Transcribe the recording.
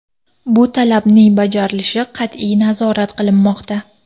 Bu talabning bajarilishi qat’iy nazorat qilinmoqda.